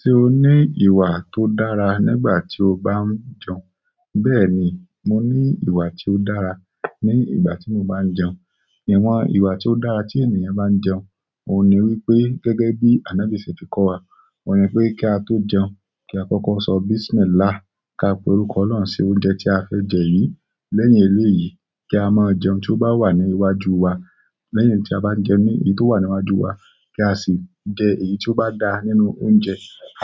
Ṣé o ní ìwà tó dára nígbà tí o bá ń jẹun? Bẹ́ẹ̀ni, mo ní ìwà tí ó dára ní ìgbà tí mo bá ń jẹun. Àwọn ìwà tí ó dára tí ènìyàn bá ń jẹun, oun niwipe gẹ́gẹ́ bí ànọ́bì ṣe fi kọ́ wa oun ni pé kí a tó jẹun kí a kọ́kọ́ sọ Bismillah, ká pè orúkọ ọlọ́run sí oúnjẹ tí a fẹ́ jẹ yìí, lẹ́yìn eleyi kí a má jẹ oun tó bá wà ní iwájú wa, lẹ́yìn ta bá jẹun tó wà ní iwájú wa, kasi jẹ èyí tóbá dáa nínú oúnjẹ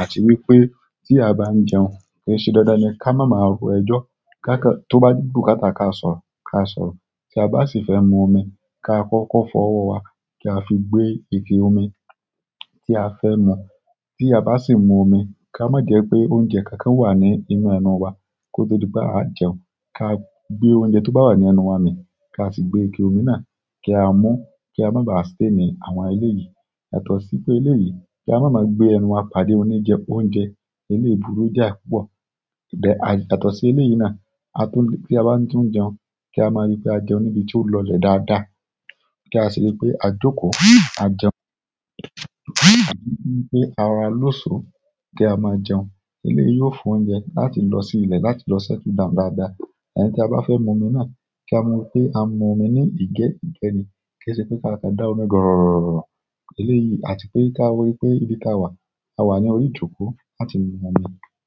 at wípé tí a bá ń jẹun, kòṣe dandan ni kí a má ma rò ẹjọ́ tó bá yẹ kí asoro kasoro. Tí a bá sì fẹ́ mu omi, ká kọ́kọ́ fọ ọwọ́ wa kí a fi gbé ike omi tí a fẹ́ mu. Tí a bá sì mu omi, kí a má jẹ pé oúnjẹ kankan wà ní inú ẹnu wa kó tó di pé a jẹun. Ká gbé oúnjẹ tó bá wà ní ẹnu wa mi kí a sì gbé ike omi náà kí a mú kí a má ba à sí ì ní àwọn ẹlẹ́yìí, àtọ̀ sí pé elẹ́yìí kí a má máa gbé ẹnu wa pàdé oní jẹ oúnjẹ eléebùrú jáà púpọ̀. Yàtọ̀ sí eleyi náà, bí a bá tún jẹun kí a má ri pé a jẹun ní ibi tí o lo lè dáadáa, kí a sì rí pé a joko kí a jẹun, kí arora loso, eleyi yó fún oúnjẹ láti losi ilé lọ settle down dáadáa then tí a bá fẹ́ mu omi náà kí a mọ pé a mu omi ní ìgẹ́ ìgbẹni kí ẹ ṣe pé ká kà dá omi gọ̀rọ̀rọ̀. Elẹ́yìí àti pé ká wọlé pé ibi tí a wà a wà ní orí ìjókòó láti mu omi.